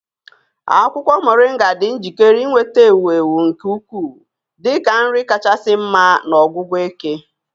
Akwukwo Moringa dị njikere inweta ewu ewu nke ukwuu dị ka nri kachasị mma na ọgwụgwọ eke.